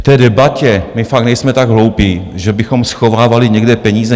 K té debatě - my fakt nejsme tak hloupí, že bychom schovávali někde peníze.